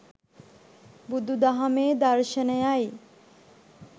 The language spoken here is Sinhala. බුදු දහමේ දර්ශනයයි.